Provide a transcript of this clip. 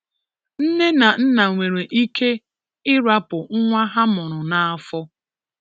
Nne na nna nwere ike irapu nwa ha mụrụ na afọ